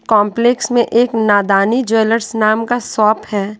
Complex में एक Nadani jewellers नाम का शॉप है।